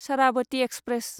Sharavati express